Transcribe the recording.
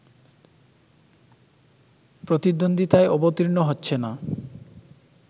প্রতিদ্বন্দ্বিতায় অবতীর্ণ হচ্ছে না